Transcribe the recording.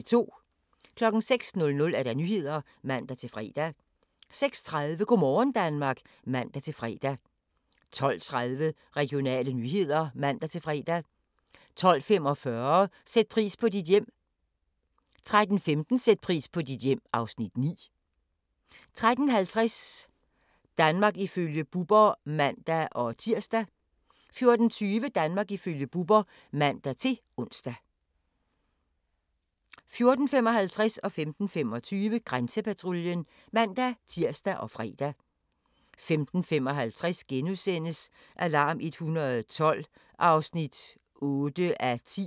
06:00: Nyhederne (man-fre) 06:30: Go' morgen Danmark (man-fre) 12:30: Regionale nyheder (man-fre) 12:45: Sæt pris på dit hjem 13:15: Sæt pris på dit hjem (Afs. 9) 13:50: Danmark ifølge Bubber (man-tir) 14:20: Danmark ifølge Bubber (man-ons) 14:55: Grænsepatruljen (man-tir og fre) 15:25: Grænsepatruljen (man-tir og fre) 15:55: Alarm 112 (8:10)*